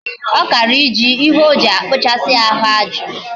Okara ije ihe oji akpuchasi ahu aju